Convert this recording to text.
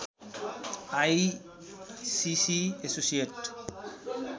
ICC associate